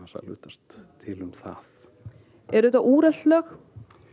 að hlutast til um það eru þetta úrelt lög